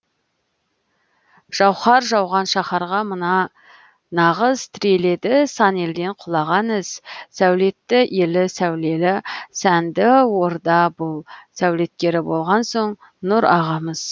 жауһар жауған шаһарға мына нағыз тіреледі сан елден құлаған із сәулетті елі сәулелі сәнді орда бұл сәулеткері болған соң нұрағамыз